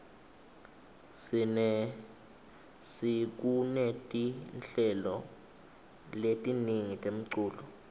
sekunetinhlelo letiningi temculo